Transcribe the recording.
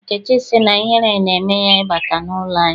Nkechi sị na ihere na-eme ya ị bata n'ụlọ anyị.